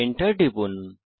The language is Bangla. Enter টিপুন